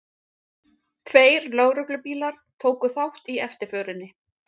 Tveir lögreglubílar tóku þátt í eftirförinni